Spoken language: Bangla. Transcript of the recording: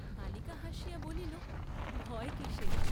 বালিকা হাসিয়া বলিল ভয় কিসের?